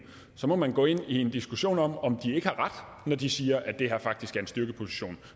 så må man gå ind i en diskussion om om de ikke har ret når de siger at det her faktisk er en styrkeposition